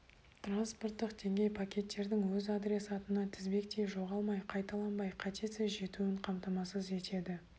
транспорттық деңгей пакеттердің өз адресатына тізбектей жоғалмай қайталанбай қатесіз жетуін қамтамасыз етеді